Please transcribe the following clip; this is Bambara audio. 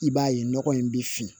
I b'a ye nɔgɔ in bɛ fin